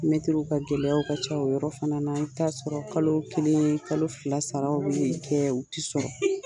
ka gɛlɛyaw ka ca o yɔrɔ fana na . I bi t'a sɔrɔ kalo kelen kalo fila saraw bi kɛ u ti sɔrɔ .